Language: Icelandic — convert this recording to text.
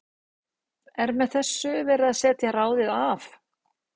Er með þessu verið að setja ráðið af?